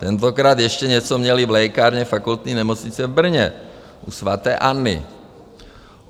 Tentokrát ještě něco měli v lékárně Fakultní nemocnice v Brně u svaté Anny.